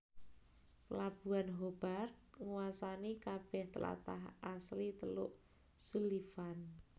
Pelabuhan Hobart nguwasani kabeh tlatah asli teluk Sullivan